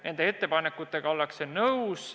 Nende ettepanekutega ollakse nõus.